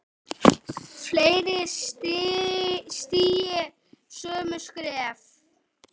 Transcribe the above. Fleiri stígi sömu skref?